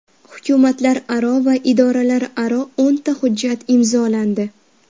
Hukumatlararo va idoralararo o‘nta hujjat imzolandi.